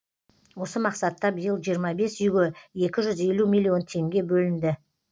осы мақсатта биыл жиырма бес үйге екі жүз елу миллион теңге бөлінді